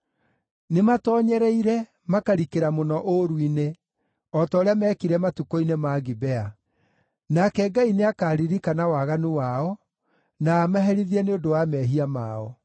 Nĩmatoonyereire, makarikĩra mũno ũũru-inĩ, o ta ũrĩa meekire matukũ-inĩ ma Gibea. Nake Ngai nĩakaririkana waganu wao, na amaherithie nĩ ũndũ wa mehia mao.